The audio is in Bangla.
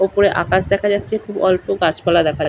উপরে আকাশ দেখা যাচ্ছে অল্প গাছপালা দেখা যাচ্ছে।